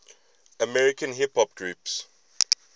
american hip hop groups